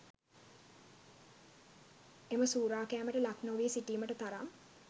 එම සූරෑකැමට ලක් නොවී සිටීමට තරම්